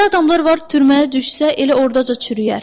Elə adamlar var, türməyə düşsə elə ordaca çürüyər.